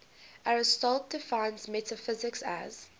aristotle defines metaphysics as